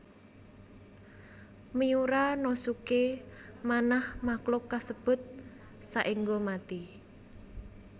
Miura no suke manah makhluk kasebut saéngga mati